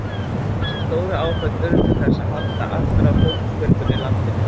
Þessi stóru áföll urðu til þess að halda aftur af fólksfjölgun í landinu.